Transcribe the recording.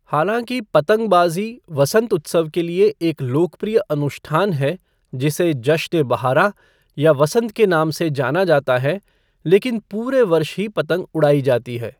हालाँकि पतंगबाजी वसंत उत्सव के लिए एक लोकप्रिय अनुष्ठान है जिसे जश्न ए बहाराँ या वसंत के नाम से जाना जाता है, लेकिन पूरे वर्ष ही पतंग उड़ाई जाती है।